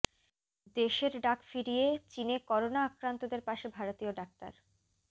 দেশের ডাক ফিরিয়ে চিনে করোনা আক্রান্তদের পাশে ভারতীয় ডাক্তার